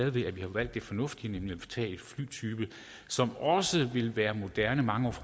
at vi har valgt det fornuftige nemlig at tage en flytype som også vil være moderne mange år